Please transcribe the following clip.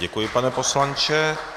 Děkuji, pane poslanče.